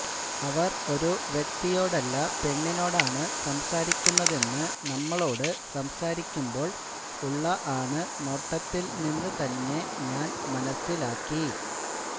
അവര് ഒരു വ്യക്തിയോടല്ല പെണ്ണിനോടാണ് സംസാരിക്കുന്നതെന്ന് നമ്മളോട് സംസാരിക്കുമ്പോള് ഉള്ള ആണ് നോട്ടത്തില് നിന്ന് തന്നെ ഞാന് മനസിലാക്കി